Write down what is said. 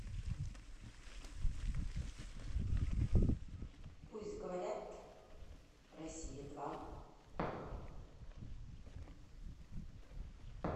пусть говорят россия два